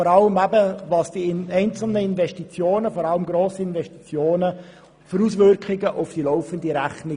Vor allem hätten wir gerne mehr Informationen zu den Auswirkungen grosser Investitionen auf die laufende Rechnung.